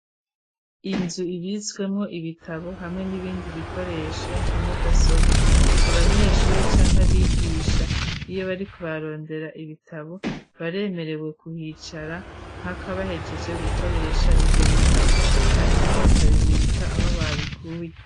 Inzu ibitswemo ibitabo hamwe n'ibindi bikoresho nka mudasobwa, abanyeshuri canke abigisha iyo bariko barondera ibitabo baremerewe kuhicara mpaka bahegeje gukoresha ivyo bitabo hanyuma bakabibika aho babikuye.